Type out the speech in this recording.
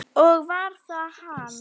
Og var það hann?